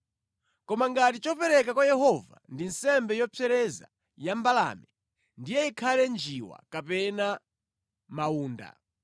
“ ‘Koma ngati chopereka kwa Yehova ndi nsembe yopsereza ya mbalame, ndiye ikhale njiwa kapena mawunda.